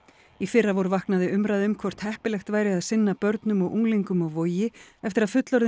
í fyrravor vaknaði umræða um hvort heppilegt væri að sinna börnum og unglingum á Vogi eftir að fullorðinn